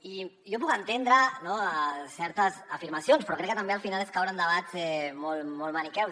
i jo puc entendre certes afirmacions però crec que també al final és caure en debats molt maniqueus